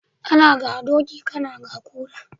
Ana ga doki kana ga kura